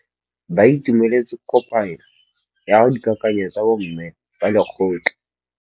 Ba itumeletse kôpanyo ya dikakanyô tsa bo mme ba lekgotla.